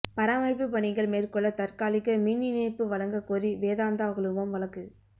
பராமரிப்பு பணிகள் மேற்கொள்ள தற்காலிக மின் இணைப்பு வழங்க கோரி வேதாந்தா குழுமம் வழக்கு